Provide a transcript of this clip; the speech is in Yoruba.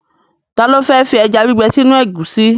Ta ló fẹ́ fi ẹja gbígbẹ sínú ẹ̀gúsí?